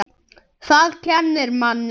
Það kennir manni.